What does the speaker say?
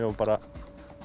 var bara